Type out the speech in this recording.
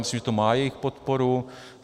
Myslím, že to má jejich podporu.